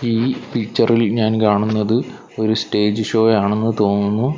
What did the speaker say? ഈ പിക്ചർ ഇൽ ഞാൻ കാണുന്നത് ഒരു സ്റ്റേജ് ഷോ ആണെന്ന് തോന്നുന്നു.